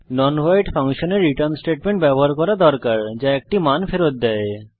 একটি non void ফাংশনের return statement ব্যবহার করা আবশ্যক যা একটি মান ফেরত দেয়